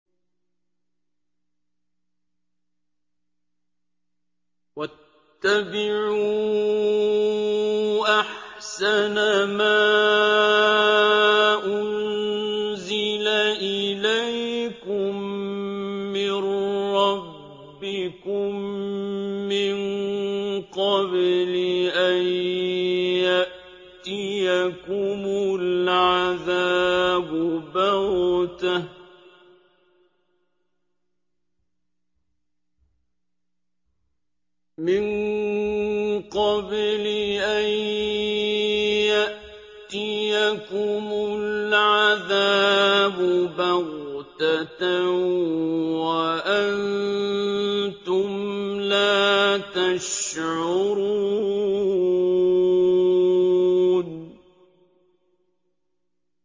وَاتَّبِعُوا أَحْسَنَ مَا أُنزِلَ إِلَيْكُم مِّن رَّبِّكُم مِّن قَبْلِ أَن يَأْتِيَكُمُ الْعَذَابُ بَغْتَةً وَأَنتُمْ لَا تَشْعُرُونَ